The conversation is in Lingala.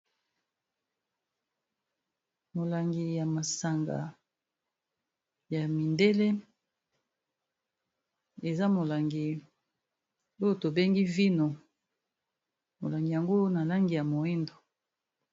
Molangi ya masanga ya mindele eza molangi oyo tobengi vino, molangi yango na langi ya moyindo.